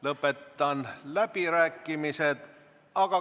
Lõpetan läbirääkimised.